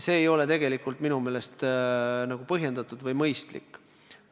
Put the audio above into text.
See ei ole minu meelest põhjendatud ega mõistlik.